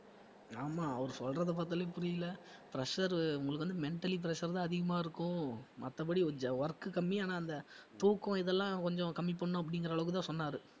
ஆமா அவரு சொல்றத பார்த்தாலே புரியல pressure உங்களுக்கு வந்து mentally pressure தான் அதிகமா இருக்கும் மத்தபடி work கம்மி ஆனா அந்த தூக்கம் இதெல்லாம் கொஞ்சம் கம்மி பண்ணனும் அப்படிங்கற அள்வுக்கு தான் சொன்னாரு